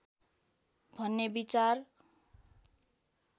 भन्ने विचार